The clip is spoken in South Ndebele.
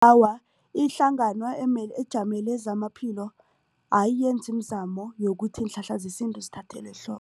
Awa, ihlangano ejamele zamaphilo ayiyenzi imizamo yokuthi iinhlahla zesintu zithathelwe